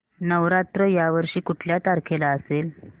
नवरात्र या वर्षी कुठल्या तारखेला असेल